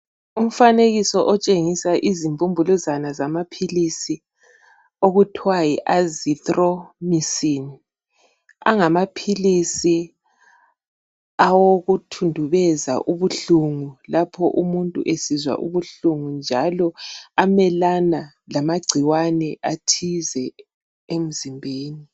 Umfanekiso otshengisa izimbumbuluzwana zamaphilisi okuthwa yiazithromycin. Angamaphilisi awokuthundubeza ubuhlungu lapho umuntu esizwa ubuhlungu njalo amelana lamagcikwane athize emzimbeni.